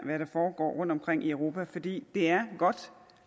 foregår rundtomkring i europa for det er godt